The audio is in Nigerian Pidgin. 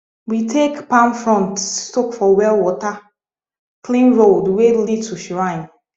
we take palm front soak for well water clean road wey lead to shrine